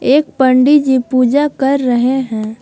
एक पंडित जी पूजा कर रहे हैं।